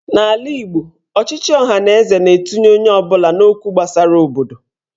N'ala Igbo, ochịchị ọhaneze na-etinye onye ọbụla n'okwu gbasara obodo.